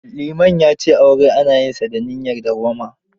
Liman ya ce aure ana yinsa da niyyar dawwama.